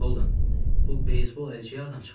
Bura bax, Holden, bu beysbol əlcəyi hardan çıxdı?